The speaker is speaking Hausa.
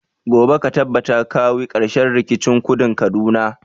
Gobe ka tabbata ka kawi karshen rikicin kudun kaduna!